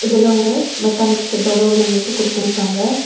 இதுல ஒரு மெக்கானிக் செட்டோட உள்ளமைப்பு குடுத்திருக்காங்க.